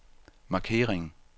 markering